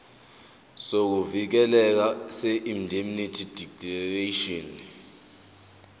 sokuvikeleka seindemnity declaration